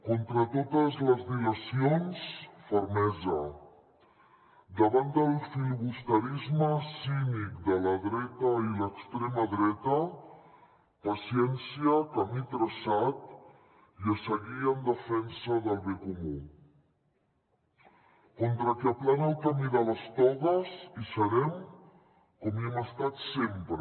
contra totes les dilacions fermesa davant del filibusterisme cínic de la dreta i l’extrema dreta paciència camí traçat i a seguir en defensa del bé comú contra el que aplana el camí de les togues hi serem com hi hem estat sempre